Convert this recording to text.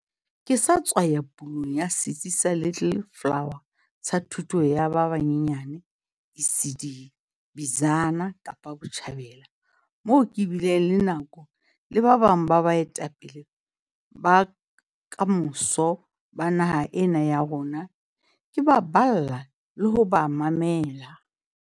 Ke sa tswa ya pulong ya setsi sa Little Flower sa thuto ya ba banyenyan, ECD, Bizana, Kapa Botjhabela, moo ke bileng le nako le ba bang ba baetapele ba kamoso ba naha ena ya rona, ke ba balla le ho ba mamela.